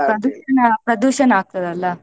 Pollution ಆಗ್ತದಲ್ಲ.